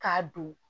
K'a don